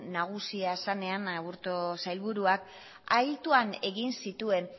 zenean aburto sailburuak altuan egin zituen